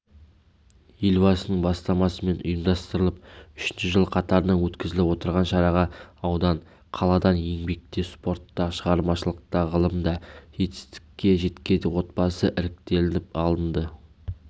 елбасының бастамасымен ұйымдастырылып үшінші жыл қатарынан өткізіліп отырған шараға аудан қаладан еңбекте спортта шығармашылықта ғылымда жетістікке жеткен отбасы іріктелініп алынды